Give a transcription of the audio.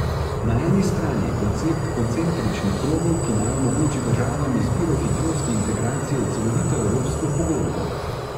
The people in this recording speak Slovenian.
Na eni strani je koncept koncentričnih krogov, ki naj omogoči državam izbiro hitrosti integracije v celovito evropsko pogodbo.